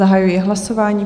Zahajuji hlasování.